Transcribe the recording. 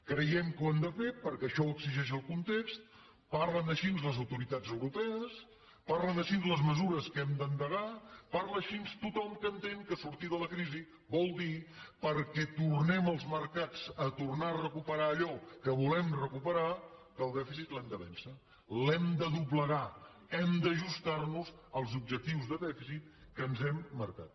creiem que ho hem de fer perquè això ho exigeix el context parlen així les autoritats europees parlen així les mesures que hem d’endegar parla així tothom que entén que sortir de la crisi vol dir perquè tornem els mercats a tornar a recuperar allò que volem recuperar que el dèficit l’hem de vèncer l’hem de doblegar hem d’ajustar nos als objectius de dèficit que ens hem marcat